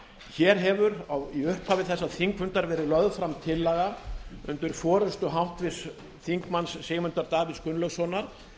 hér hefur í upphafi þessa þingfundar verið lögð fram tillaga undir forustu háttvirts þingmanns sigmundar davíðs gunnlaugssonar